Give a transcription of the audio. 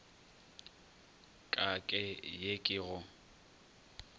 ka ke ye ke go